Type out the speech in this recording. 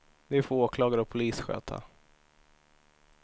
Det får åklagare och polis sköta.